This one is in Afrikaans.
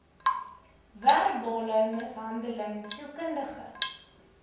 verbale mishandeling sielkundige